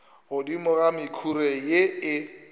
godimo ga mekhuri ye e